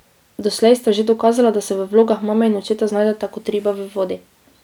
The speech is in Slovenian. Doslej sta že dokazala, da se v vlogah mame in očeta znajdeta kot riba v vodi.